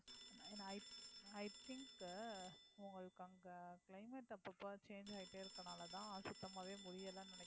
i i think உ உங்களுக்கு அங்க climate அப்பப்ப change ஆயிட்டே இருக்கனாலதான் சுத்தமாவே முடியலைன்னு நினைக்கறேன்